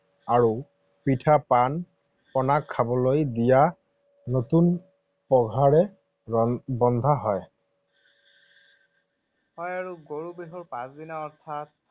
আৰু পিঠা পনা, খাবলৈ দিয়া নতুন পঘাৰে বন্ধা হয়। হয় আৰু গৰু বিহুৰ পাছদিনা অৰ্থাৎ